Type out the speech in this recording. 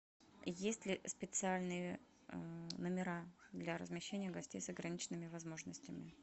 есть ли специальные номера для размещения гостей с ограниченными возможностями